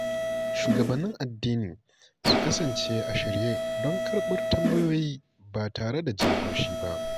Shugabannin addini su kasance a shirye don karɓar tambayoyi ba tare da jin haushi ba.